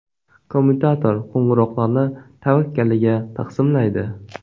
Kommutator qo‘ng‘iroqlarni tavakkaliga taqsimlaydi.